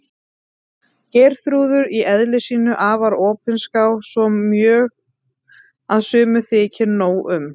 Geirþrúður í eðli sínu afar opinská, svo mjög að sumum þykir nóg um.